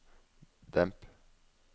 demp